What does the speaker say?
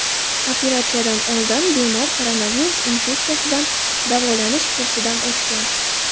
Operatsiyadan oldin bemor koronavirus infeksiyasidan davolanish kursidan o‘tgan.